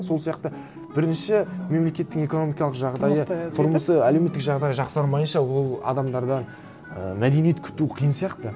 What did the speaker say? сол сияқты бірінші мемлекеттің экономикалық жағдайы тұрмысы әлеуметтік жағдайы жақсармайынша ол адамдардан і мәдениет күту қиын сияқты